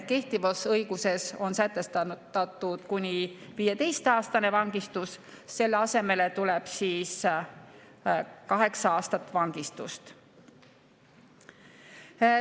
Kehtivas õiguses on sätestatud kuni viieaastane vangistus, selle asemele tuleb kaheksa aastat vangistust.